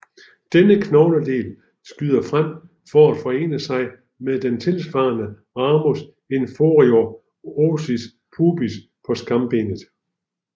Denne knogledel skyder frem for at forene sig med den tilsvarende ramus inferior ossis pubis på skambenet